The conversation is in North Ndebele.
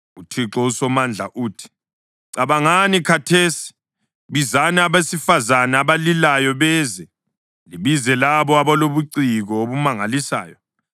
UThixo uSomandla uthi: “Cabangani khathesi! Bizani abesifazane abalilayo beze, libize labo abalobuciko obumangalisayo.